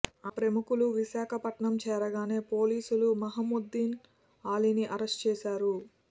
ఆ ప్రముఖులు విశాఖపట్నం చేరగానే పోలీసులు ముహమ్మద్ అలీని అరెస్టు చేశారు